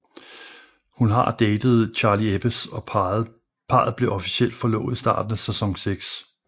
Hun har datede Charlie Eppes og parret blev officielt forlovet i starten af sæson seks